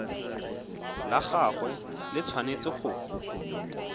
la gagwe le tshwanetse go